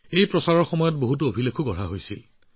এই অভিযানৰ সময়তো বহু অভিলেখ গঢ়ি উঠিছিল